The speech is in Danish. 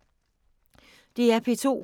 DR P2